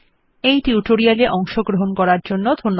এই টিউটোরিয়াল এ অংশগ্রহন করার জন্য ধন্যবাদ